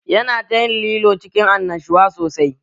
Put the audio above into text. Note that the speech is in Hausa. Yana ta yin lilo cikin annashuwa sosai